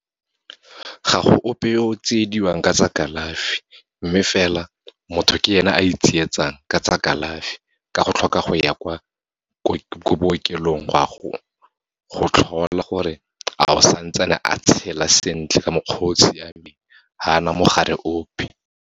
Ga go ope yo tsiediwang ka tsa kalafi, mme fela motho ke ena a itsietsang ka tsa kalafi, ka go tlhoka go ya ko bookelong, gwa go tlhola gore a o santsane a tshela sentle ka mokgwa o siameng, ha na mogare ope.